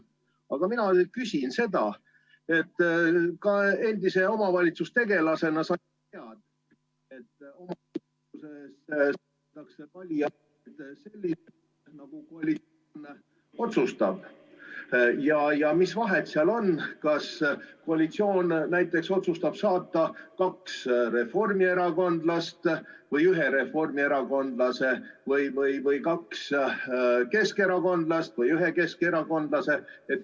Aga mina küsin seda, et endise omavalitsustegelasena sa tead, et omavalitsuses ...... nagu koalitsioon otsustab, ja mis vahet seal on, kas koalitsioon otsustab saata kaks reformierakondlast või ühe reformierakondlase või kaks keskerakondlast või ühe keskerakondlase.